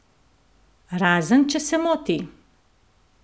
Razen če se moti?